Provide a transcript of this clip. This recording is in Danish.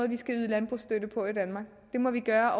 vi skal yde landbrugsstøtte på i danmark det må vi gøre